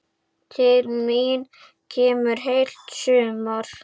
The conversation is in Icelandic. Til mín kemur heilt sumar.